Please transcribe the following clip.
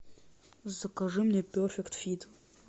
закажи мне перфект фит